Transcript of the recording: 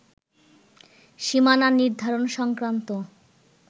সীমানা নির্ধারণ সংক্রান্ত